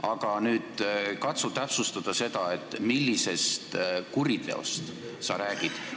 Aga nüüd katsu täpsustada, millisest kuriteost sa räägid!